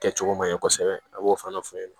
Kɛcogo man ɲɛ kosɛbɛ a b'o fana fɔ